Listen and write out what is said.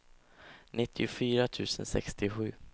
nittiofyra tusen sextiosju